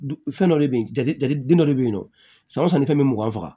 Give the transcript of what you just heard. Fɛn dɔ de bɛ yen jate jate den dɔ le bɛ yen nɔ san o san ni fɛn bɛ mugan faga